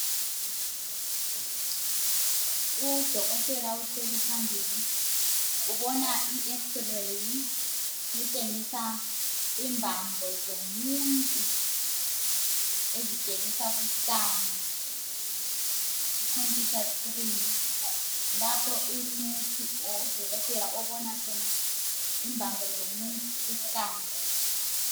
udokotela uhleli phambili ubona i x ray etshengisa imbambo zomuntu ezitshengisa ku scan ku computer screen lapho u nurse or udokotela obona khona imbambo zomuntu ku scan